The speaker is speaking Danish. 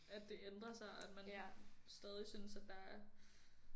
At det ændrer sig og at man stadig synes at der er